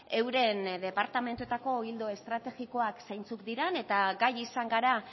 euren departamentuetako ildo estrategikoak zeintzuk diren eta gai izan gara